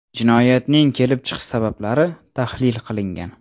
Jinoyatning kelib chiqish sabablari tahlil qilingan.